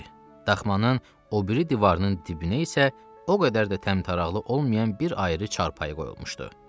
Daxmanın o biri divarının dibinə isə o qədər də təmtaraqlı olmayan bir ayrı çarpayı qoyulmuşdu.